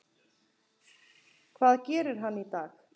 Hvað gerir hann í dag?